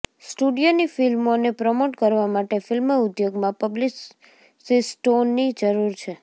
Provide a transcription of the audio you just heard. સ્ટુડિયોની ફિલ્મોને પ્રમોટ કરવા માટે ફિલ્મ ઉદ્યોગમાં પબ્લિસિસ્ટોની જરૂર છે